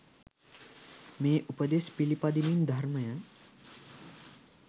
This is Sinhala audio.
මේ උපදෙස් පිළිපදිමින් ධර්මය